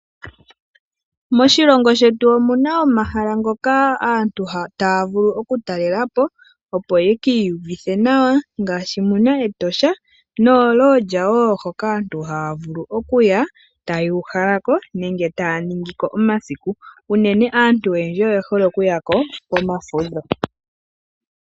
Moshilogo shetu omuna omahala ngoka aantu taya vulu oku talelapo opo yakiiyuvithe nawa ngashi muna Etosha noo lodge woo hoka aantu taya vulu okuya, ta yuuhalako nenge taya ningiko omasiku, uunene aantu oyendji oye hole oku yako komafudho.